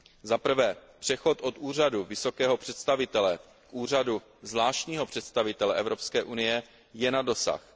Za prvé přechod od Úřadu vysokého představitele k Úřadu zvláštního představitele Evropské unie je na dosah.